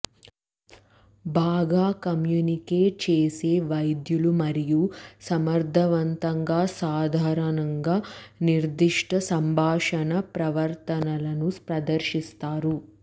బాగా కమ్యూనికేట్ చేసే వైద్యులు మరియు సమర్థవంతంగా సాధారణంగా నిర్దిష్ట సంభాషణ ప్రవర్తనలను ప్రదర్శిస్తారు